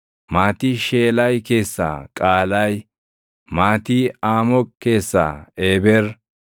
maatii Sheelaay keessaa Qaalaayi; maatii Aamoq keessaa Eeber;